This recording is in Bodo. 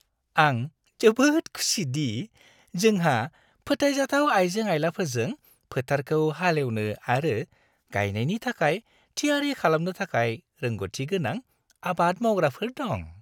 आं जोबोद खुसि दि जोंहा फोथायजाथाव आइजें-आइलाफोरजों फोथारखौ हाल एवनो आरो गायनायनि थाखाय थियारि खालामनो थाखाय रोंग'थिगोनां आबाद मावग्राफोर दं।